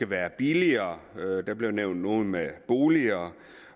være billigere der blev nævnt noget med boliger